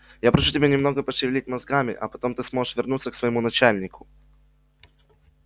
я прошу тебя немного пошевелить мозгами а потом ты сможешь вернуться к своему начальнику